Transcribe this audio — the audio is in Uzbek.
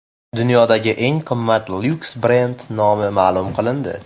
Dunyodagi eng qimmat lyuks brend nomi ma’lum qilindi.